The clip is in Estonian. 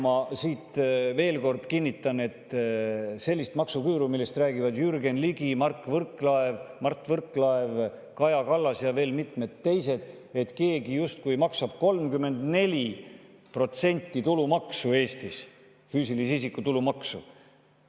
Ma siit veel kord kinnitan, et sellist maksuküüru, millest räägivad Jürgen Ligi, Mart Võrklaev, Kaja Kallas ja veel mitmed teised, et keegi justkui maksab 34% tulumaksu Eestis, füüsilise isiku tulumaksu,.